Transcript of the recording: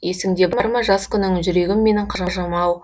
есіңде бар ма жас күнің жүрегім менің қырық жамау